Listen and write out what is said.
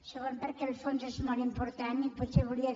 segon perquè el fons és molt important i potser volia